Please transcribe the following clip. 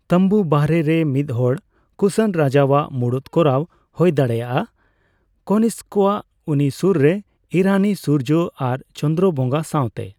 ᱛᱟᱸᱵᱩ ᱵᱟᱨᱦᱮ ᱨᱮ ᱢᱤᱫᱦᱚᱲ ᱠᱩᱥᱟᱱ ᱨᱟᱡᱟᱣᱟᱜ ᱢᱩᱲᱩᱛ ᱠᱚᱨᱟᱣᱟ, ᱦᱳᱭ ᱫᱟᱲᱮᱭᱟᱜᱼᱟ ᱠᱚᱱᱤᱥᱠᱚᱣᱟᱜ, ᱩᱱᱤ ᱥᱳᱨᱨᱮ ᱤᱨᱟᱱᱤ ᱥᱩᱨᱡᱚ ᱟᱨ ᱪᱚᱱᱫᱨᱚ ᱵᱚᱸᱜᱟ ᱥᱟᱣᱛᱮ ᱾